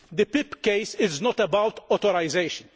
The PIP case is not about authorisation.